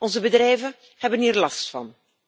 Onze bedrijven hebben hier last van.